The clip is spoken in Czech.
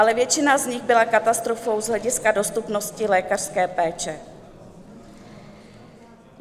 Ale většina z nich byla katastrofou z hlediska dostupnosti lékařské péče.